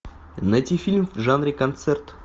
найти фильм в жанре концерт